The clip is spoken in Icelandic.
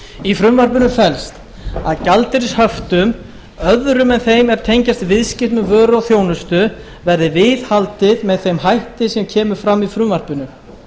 í frumvarpinu felst að gjaldeyrishöftum öðrum en þeim er tengjast viðskiptum með vöru og þjónustu verði viðhaldið með þeim hætti sem kemur fram í frumvarpinu